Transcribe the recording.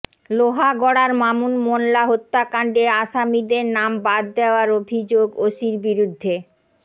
লোহাগড়ায় মামুন মোল্লা হত্যাকাণ্ড আসামিদের নাম বাদ দেওয়ার অভিযোগ ওসির বিরুদ্ধে